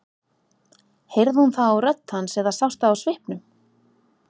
Heyrði hún það á rödd hans eða sá það á svipnum?